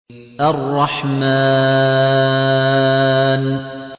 الرَّحْمَٰنُ